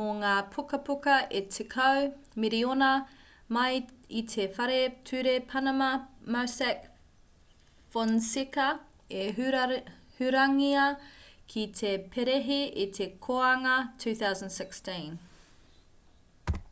mō ngā pukapuka e tekau miriona mai i te whare ture panama mossack fonseca i hurangia ki te perehi i te kōanga 2016